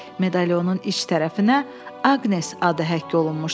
Medalionun iç tərəfinə Aqnes adı həkk olunmuşdu.